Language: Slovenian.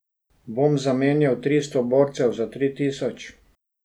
Bom zamenjal tristo borcev za tri tisoč?